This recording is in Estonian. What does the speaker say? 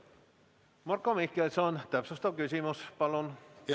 Marko Mihkelson, täpsustav küsimus, palun!